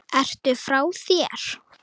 Ertu frá þér??